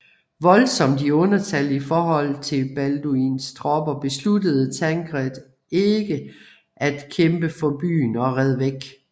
Voldsomt i undertal i forhold til Balduins tropper besluttede Tancred ikke at kæmpe for byen og red væk